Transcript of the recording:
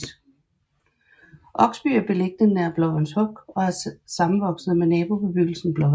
Oksby er beliggende nær Blåvands Huk og er sammenvokset med nabobebyggelsen Blåvand